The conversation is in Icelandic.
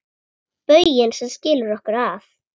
Bauginn sem skilur okkur að.